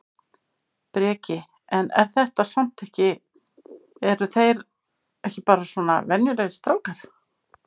Breki: En er þetta samt ekki eru þeir ekki bara svona venjulegir strákar?